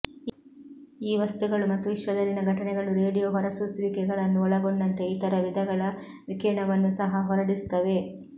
ಈ ವಸ್ತುಗಳು ಮತ್ತು ವಿಶ್ವದಲ್ಲಿನ ಘಟನೆಗಳು ರೇಡಿಯೋ ಹೊರಸೂಸುವಿಕೆಗಳನ್ನು ಒಳಗೊಂಡಂತೆ ಇತರ ವಿಧಗಳ ವಿಕಿರಣವನ್ನು ಸಹ ಹೊರಡಿಸುತ್ತವೆ